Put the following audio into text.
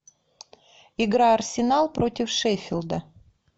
игра арсенал против шеффилда